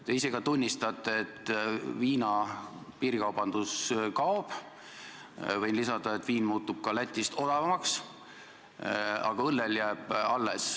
Te ise ka tunnistate, et viina piirikaubandus kaob – võin lisada, et viin muutub odavamaks kui Lätis –, aga õlleostud jäävad.